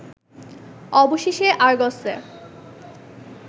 অবশেষে আরগসে